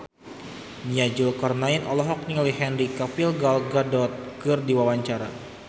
Nia Zulkarnaen olohok ningali Henry Cavill Gal Gadot keur diwawancara